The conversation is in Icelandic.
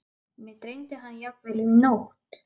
Mig dreymdi hann jafnvel í nótt.